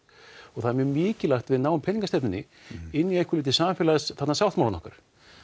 það mjög mikilvægt að við náum peningastefnunni inn í einhverju leyti samfélagssáttmálann okkar